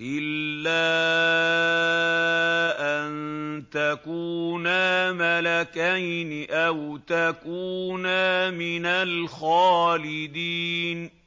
إِلَّا أَن تَكُونَا مَلَكَيْنِ أَوْ تَكُونَا مِنَ الْخَالِدِينَ